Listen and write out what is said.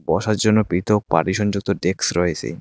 বসার জন্য পৃথক পার্টিশন যুক্ত ডেস্ক রয়েসে।